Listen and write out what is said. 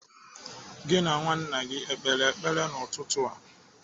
Gị na nwa nna gị o kpere ekpere n'ụtụtụ a?